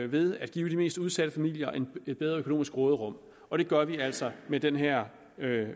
ved at give de mest udsatte familier et bedre økonomisk råderum og det gør vi altså med den her